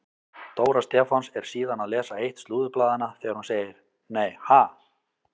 Dóra Stefáns er síðan að lesa eitt slúðurblaðanna þegar hún segir: Nei ha?